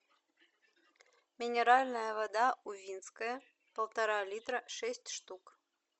минеральная вода увинская полтора литра шесть штук